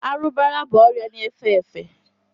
arụbara bụ ọrịa na-efe efe